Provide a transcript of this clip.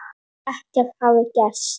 Ekkert hafi gerst.